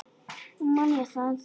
Nú man ég það!